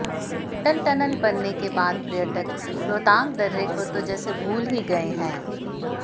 अटक टनल बनने का बाद पर्यटक रोहतांग दर्रे को तो जैसे भूल ही गए हैं